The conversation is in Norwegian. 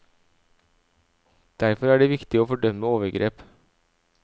Derfor er det viktig å fordømme overgrep.